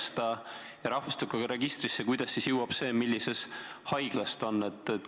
Kuidas siis rahvastikuregistrisse jõuab see info, millises haiglas keegi on?